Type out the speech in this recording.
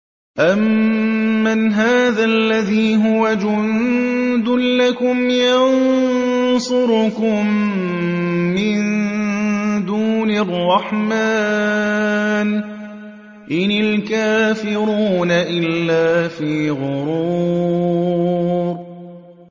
أَمَّنْ هَٰذَا الَّذِي هُوَ جُندٌ لَّكُمْ يَنصُرُكُم مِّن دُونِ الرَّحْمَٰنِ ۚ إِنِ الْكَافِرُونَ إِلَّا فِي غُرُورٍ